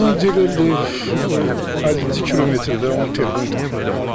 Burdan Diləliyev 50-ci kilometrdə onun telefonu tapılıb.